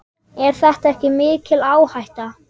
Er þetta ekki mikil áhætta?